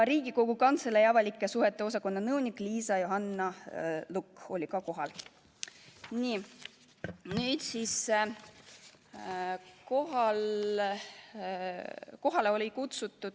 Riigikogu Kantselei avalike suhete osakonna nõunik Liisa Johanna Lukk oli ka kohal.